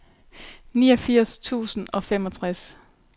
niogfirs tusind og femogtres